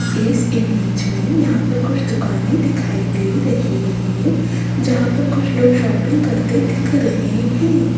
इस इमेज मे यहाँ पर कुछ दुकाने दिखाई दे रही है जहां पर कुछ लोग शॉपिंग करते दिख रहे हैं।